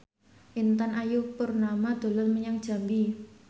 Intan Ayu Purnama dolan menyang Jambi